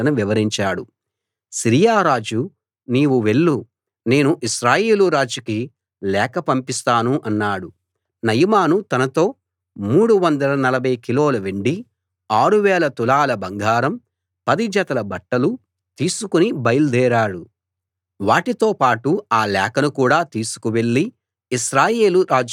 Syria రాజు నీవు వెళ్ళు నేను ఇశ్రాయేలు రాజుకి లేఖ పంపిస్తాను అన్నాడు నయమాను తనతో మూడు వందల నలభై కిలోల వెండీ ఆరు వేల తులాల బంగారం పది జతల బట్టలూ తీసుకుని బయల్దేరాడు వాటితో పాటు ఆ లేఖను కూడా తీసుకు వెళ్ళి ఇశ్రాయేలు రాజుకి అందించాడు